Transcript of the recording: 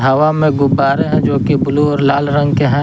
हवा में गुब्बारे है जोकि ब्लू और लाल रंग के हैं।